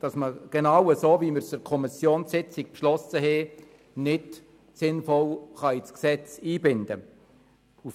So, wie es in der Kommissionssitzung beschlossen wurde, kann die Änderung nicht sinnvoll ins Gesetz eingebunden werden.